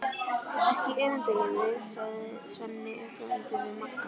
Ekki öfunda ég þig, sagði Svenni uppörvandi við Magga.